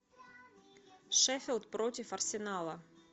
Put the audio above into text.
шеффилд против арсенала